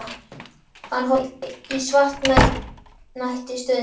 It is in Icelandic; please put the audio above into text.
Hann horfði í svartnætti um stund.